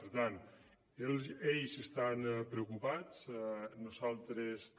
per tant ells estan preocupats nosaltres també